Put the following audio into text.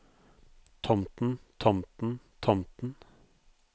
tomten tomten tomten